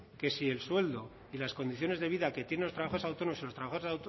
que si el sueldo y las condiciones de vida que tienen los trabajadores autónomos si los trabajadores